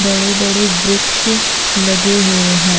बड़े-बड़े वृक्ष लगे हुए हैं।